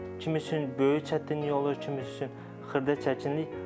Kimin üçün böyük çətinlik olur, kimin üçün xırda çəkinlik.